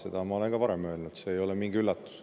Seda ma olen ka varem öelnud, see ei ole mingi üllatus.